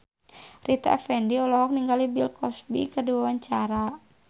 Rita Effendy olohok ningali Bill Cosby keur diwawancara